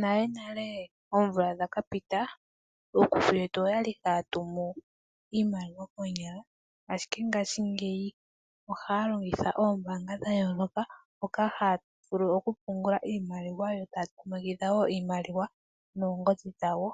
Nale nale oomvula dhakapita ookuku yetu oyali haatumu iimaliwa koonyala, ashike ngaashingeyi ohaa longitha oombaanga dhayooloka hoka haavulu okupungula iimaliwa yo taa tumakitha woo iimaliwa noongodhi dhawo